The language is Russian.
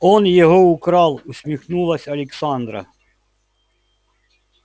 он его украл усмехнулась александра